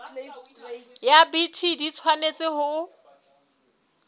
ya bt di tshwanetse ho